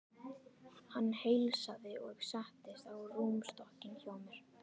Hann heilsaði og settist á rúmstokkinn hjá mér.